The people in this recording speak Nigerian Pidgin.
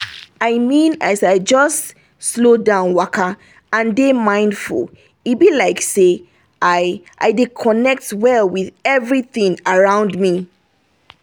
i mean as i just slow down waka and dey mindful e be like say i i dey connect well with everything around me